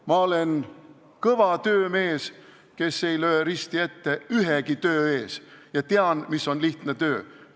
Ma olen kõva töömees, kes ei löö risti ette ühegi töö ees, ja tean, mis on lihtne töö.